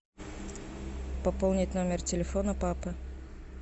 пополнить номер телефона папы